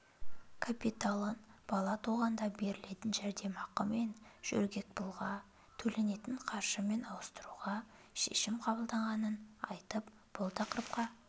капиталын бала туғанда берілетін жәрдемақы мен жөргекпұлға төленетін қаржымен ауыстыруға шешім қабылданғанын айтып бұл тақырыпқа